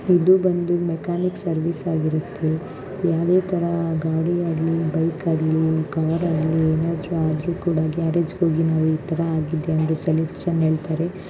ಇದು ಬಂದು mechanic service ಆಗಿರುತ್ತೆ ಯಾವುದೇ ತರ ಗಾಡಿ ಆಗಲಿ ಬೈಕ್ ಆಗಲಿ ಕಾರ್ ಆಗಲಿ ಏನಾದ್ರೂ ಆದರೂ ಕೂಡ ಗ್ಯಾರೇಜ್ ಗೆ ಹೋಗಿ ನಾವು ಈ ತರ ಆಗಿದೆ ಎಂದು ಸಲುಷನ್ ಹೇಳ್ತಾರೆ.